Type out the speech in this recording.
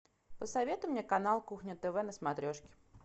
посоветуй мне канал кухня тв на смотрешке